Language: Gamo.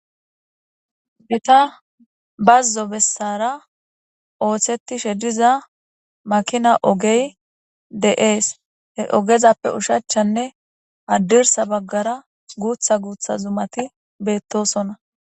Heya bazo besara osetishe diza Makinan ogeye de'ese he ogezappe osachanne hadirsa bagara gutha gutha zumati betosona